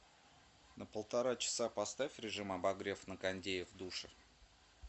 на полтора часа поставь режим обогрев на кондее в душе